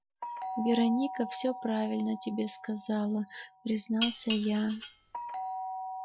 вероника все правильно тебе сказала признался я